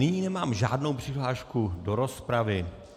Nyní nemám žádnou přihlášku do rozpravy.